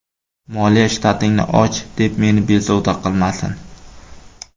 Moliya shtatingni och, deb meni bezovta qilmasin.